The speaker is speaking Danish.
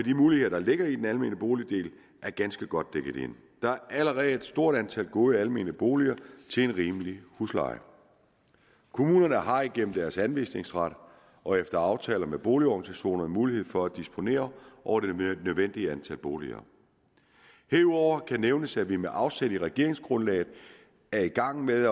muligheder der ligger i den almene boligdel er ganske godt dækket ind der er allerede et stort antal gode almene boliger til en rimelig husleje kommunerne har igennem deres anvisningsret og efter aftale med boligorganisationerne mulighed for at disponere over det nødvendige antal boliger herudover kan nævnes at vi med afsæt i regeringsgrundlaget er i gang med